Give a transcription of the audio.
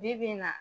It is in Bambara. Bi bi in na